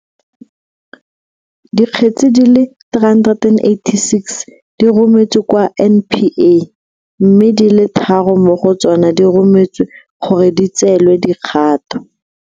Dikgetse di le 386 di rometswe kwa NPA, mme di le tharo mo go tsona di rometswe gore di tseelwe dikgato.